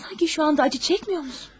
Sanki indi ağrı çəkmirsənmi?